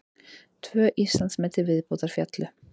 Tvö Íslandsmet til viðbótar féllu